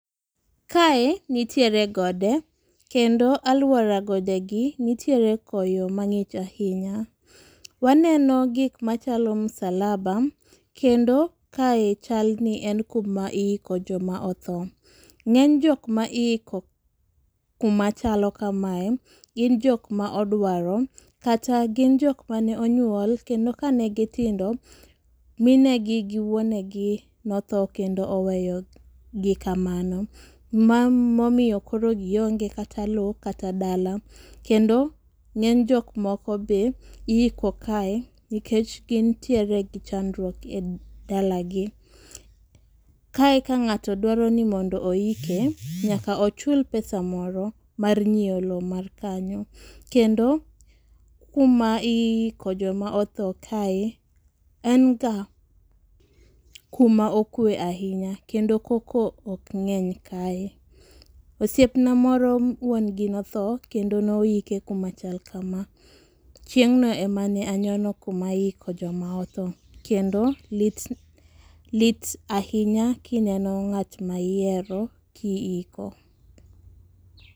Kae nitiere gode, kendo alwora godegi nitiere koyo mang'ich ahinya. Waneno gik machalo musalaba, kendo kae chal ni en kuma iiko joma othoo. Ng'eny jok ma iiko kuma chalo kamae, gin jok ma odwaro, kata gin jok mane onyuol, kendo ka ne gitindo, mine gi, gi wuonegi notho kendo oweyo gi kamano. Ma momiyo koro gionge kata lowo kata dala. Kendo ng'eny jok moko be iiko kae nikech gintiere gi chandruok e dalagi. Kae ka ng'ato dwaro ni mondo oike nyaka ochul pesa moro mar nyiewo lowo mar kanyo. Kendo kuma iiko joma otho kae, en ga kuma okwe ahinya, kendo koko ok ng'eny kae. Osiepna moro wuon gi nothoo, kendo noike kuma chalo kama. Chieng'no ema ne anyono kuma iiko joma otho. Kendo lit, lit ahinya kineno ng'at ma ihero kiiko.